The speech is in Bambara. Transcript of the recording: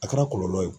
A kɛra kɔlɔlɔ ye o